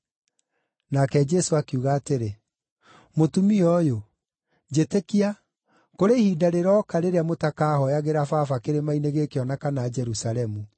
Nake Jesũ akiuga atĩrĩ, “Mũtumia ũyũ, njĩtĩkia, kũrĩ ihinda rĩroka rĩrĩa mũtakaahooyagĩra Baba kĩrĩma-inĩ gĩkĩ o na kana Jerusalemu.